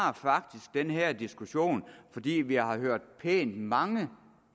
har faktisk den her diskussion fordi vi har hørt pænt mange